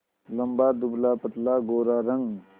लंबा दुबलापतला गोरा रंग